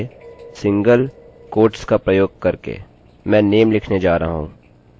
मैं name लिखने जा रहा हूँ और फिर रिफ्रेशrefresh